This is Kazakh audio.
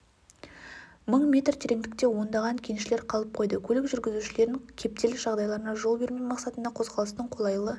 мың метр тереңдікте ондаған кеншілер қалып қойды көлік жүргізушілерін кептеліс жағдайларына жол бермеу мақсатында қозғалыстың қолайлы